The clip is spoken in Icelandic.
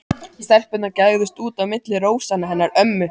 Stelpurnar gægðust út á milli rósanna hennar ömmu.